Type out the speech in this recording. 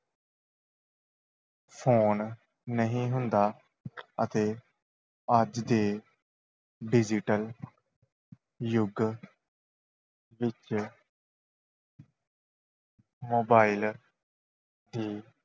Phone ਨਹੀਂ ਹੁੰਦਾ ਅਤੇ ਅੱਜ ਦੇ digital ਯੁੱਗ ਵਿੱਚ mobile ਦੀ